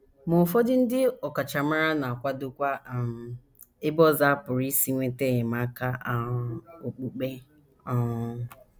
Ma ụfọdụ ndị ọkachamara na - akwadokwa um ebe ọzọ a pụrụ isi nweta enyemaka um okpukpe um.